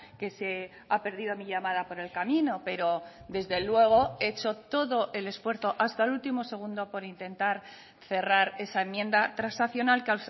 que se ha perdido mi llamada por el camino pero desde luego he hecho todo el esfuerzo hasta el último segundo por intentar cerrar esa enmienda transaccional que